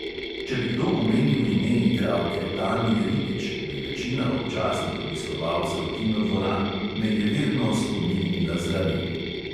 Če bi kdo omenil ime igralke tanje ribič, bi večina občasnih obiskovalcev kinodvoran nejeverno skomignila z rameni.